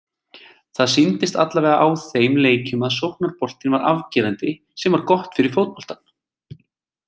Það sýndist allavega á þeim leikjum að sóknarboltinn var afgerandi- sem var gott fyrir fótboltann.